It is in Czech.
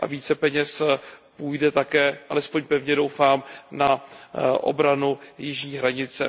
Více peněz půjde také, alespoň pevně doufám, na obranu jižní hranice.